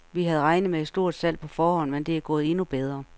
Vi havde regnet med et stort salg på forhånd, men det er gået endnu bedre.